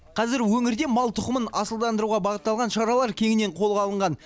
қазір өңірде мал тұқымын асылдандыруға бағытталған шаралар кеңінен қолға алынған